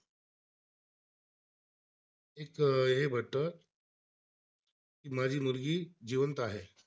एक हे भट्ट, माझी मुलगी जिवंत आहे